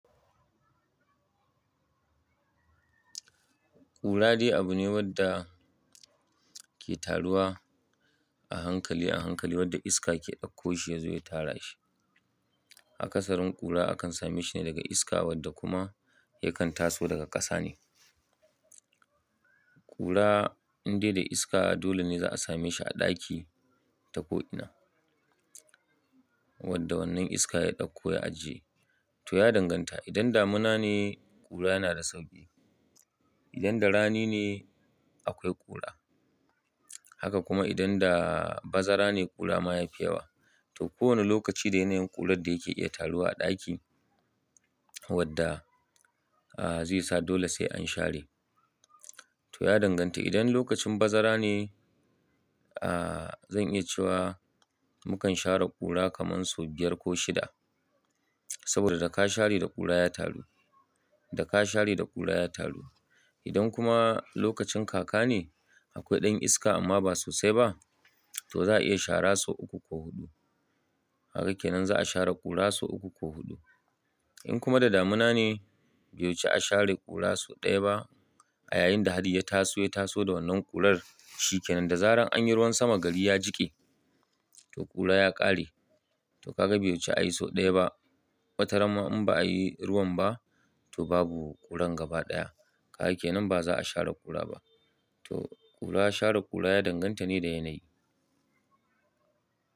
Ƙura dai abu ne wadda ke taruwa a hankali a hankali wadda iska ke ɗakko shi ya zo ya tara shi. Akasarin ƙura akan same shi ne daga iska wadda kuma yakan taso daga ƙasa ne. Ƙura in dai da iska dole ne za a same shi a ɗaki ta ko ina. Wadda wannan iska ya ɗakko ya ajiye. To ya danganta idan damuna ne ƙura yana da sauƙi. Idan da rani ne akwai ƙura. Haka kuma idan da bazara ne ƙura ma yafi yawa. To kowane lokaci da yanayin ƙurar da yake iya taruwa a ɗaki wadda zai sa dole sai an share. To ya danganta idan lokacin bazara ne zan iya cewa mukan share ƙura kaman sau biyar ko shida. Saboda daka share da ƙura ya taru. Da ka share da ƙura ya taru. Idan kuma lokacin kaka ne akwai ɗan iska amma ba sosai ba to za a iya shara sau uku ko huɗu. Haka ke nan za a share ƙura so uku ko huɗu. In kuma da damuna ne bai wuci a share ƙura so ɗaya ba a yayinda hadari ya taso ya taso da wannan ƙurar shi ke nan da zaran anyi ruwan sama gari ya jike to ƙura ya ƙare. To ka ga bai wuci a yi so ɗaya ba. Wata rana ma in ba a yi ruwan ba to babu ƙuran gaba ɗaya. Kaga kenan ba za a share ƙura ba. To ƙura share ƙura ya danganta ne da yanayi.